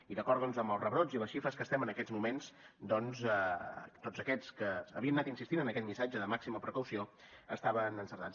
i d’acord amb els rebrots i les xifres que estem en aquests moments doncs tots aquests que havien anat insistint en aquest missatge de màxima precaució estaven encertats